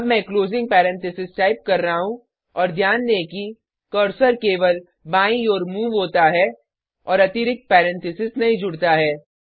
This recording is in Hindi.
अब मैं क्लोजिंग पैरेंथेसिस टाइप कर रहा हूँ और ध्यान दें कि कर्सर केवल बाईं ओर मूव होता है और अतिरिक्त पैरेंथेसिस नहीं जुड़ता है